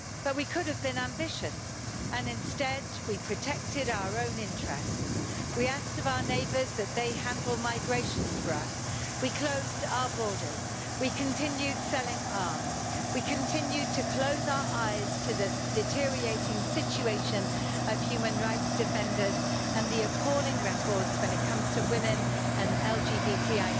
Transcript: We could have been ambitious, but instead we protected our own interests. We asked of our neighbours that they handle migration for us, we closed our borders, we continued selling arms, and we continued to close our eyes to the deteriorating situation of human rights defenders and the appalling record when it comes to women and LGBTQ.